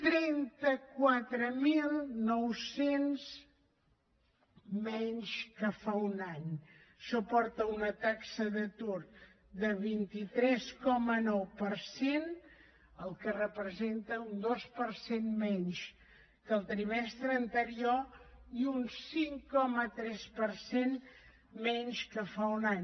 trenta quatre mil nou cents menys que fa un any això porta a una taxa d’atur de vint tres coma nou per cent el que representa un dos per cent menys que el trimestre anterior i un cinc coma tres per cent menys que fa un any